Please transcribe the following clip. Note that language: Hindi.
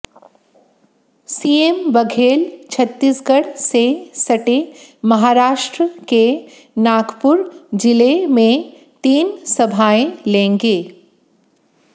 सीएम बघेल छत्तीसगढ़ से सटे महाराष्ट्र के नागपुर जिले में तीन सभाएं लेंगे